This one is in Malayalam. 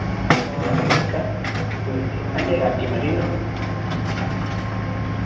ആ നോക്ക world cup ല്ലേ അട്ടിമറിയുണ്ടാവും